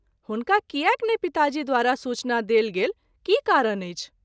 हुनका कियाक नहिं पिताजी द्वारा सूचना देल गेल की कारण अछि।